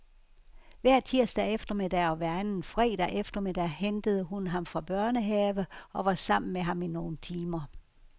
Hver tirsdag eftermiddag og hver anden fredag eftermiddag hentede hun ham fra børnehave og var sammen med ham i nogle timer.